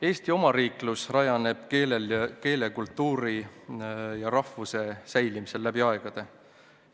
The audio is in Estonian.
Eesti omariiklus rajaneb keele, kultuuri ja rahvuse säilimisel läbi aegade.